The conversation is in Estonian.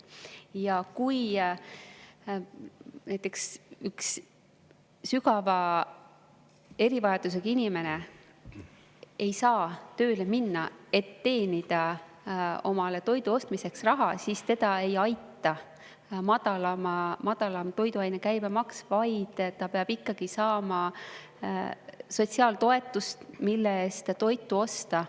Ja kui näiteks üks sügava erivajadusega inimene ei saa tööle minna, et teenida omale toidu ostmiseks raha, siis teda ei aita madalam toiduainete käibemaks, vaid ta peab saama sotsiaaltoetust, mille eest toitu osta.